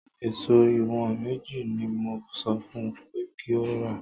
Èso ìwọ̀n mẹ́jọ ni mo sọ fún un pé kí ó rà